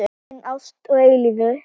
Ein ást að eilífu.